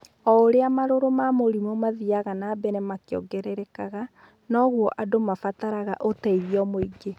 O ũrĩa marũrũ ma mũrimũ mathiaga na mbere makĩongererekaga, no guo andũ mabataraga ũteithio mũingĩ.